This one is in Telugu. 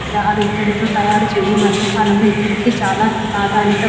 విగ్రహాలు ఎత్తుటితో తయారు చేయి ఈ కాలంలోనే ఇత్తడికి చాలా ప్రాధాన్యత ఉంది.